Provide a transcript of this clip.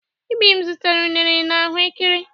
Ibim zụtara unere na ahụ ékẹrè.